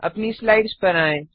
अपनी स्लाइड्स पर आएँ